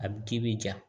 A bi k'i bi ja